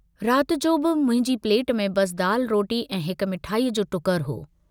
रात जो बि मुंहिंजी प्लेट में बस दाल रोटी ऐं हिक मिठाईअ जो टुकरु हो।